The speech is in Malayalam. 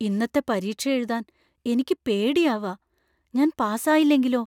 ഇന്നത്തെ പരീക്ഷ എഴുതാൻ എനിക്ക് പേടിയാവാ. ഞാൻ പാസായില്ലെങ്കിലോ?